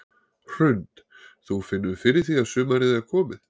Hrund: Þú finnur fyrir því að sumarið er komið?